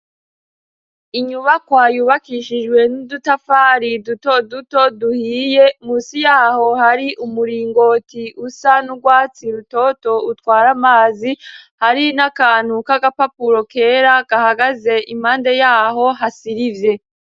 inyubakwa yubakishijwe n'udutafari duto duto duhiye musi yaho hari umuringoti usa n'urwatsi rutoto utwara amazi hari n'akantu k'agapapuro kera gahagaze impande yaho hasirivye.